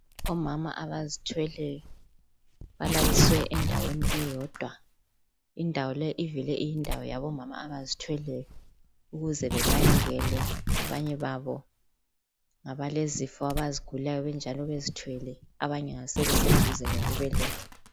Omama abazithweleyo balaliswe endaweni eyodwa indawo le ivele iyindawo yabomama abazithweleyo ukuze benakekelwe abanye babo ngabalezifo abazigulayo benjalo bezithwele abanye ngabeseduze lokubeletha.